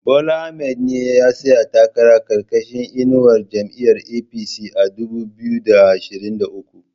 Bola Ahmad ne ya tsaya takara karkashin inuwar jam'iyar APC a dubu biyu da ashirin da uku